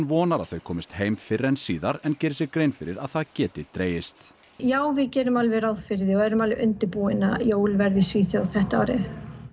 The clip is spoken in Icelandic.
vonar að þau komist heim fyrr en síðar en gerir sér grein fyrir að það geti dregist já við gerum alveg ráð fyrir því og erum alveg undirbúin að jólin verði í Svíþjóð þetta árið